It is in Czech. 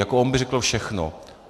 - Jako on by řekl všechno.